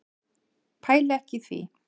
Pæli ekki í því.